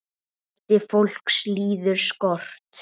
Fjöldi fólks líður skort.